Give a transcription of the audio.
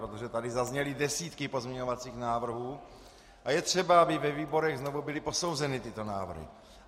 Protože tady zazněly desítky pozměňovacích návrhů a je třeba, aby ve výborech znovu byly posouzeny tyto návrhy.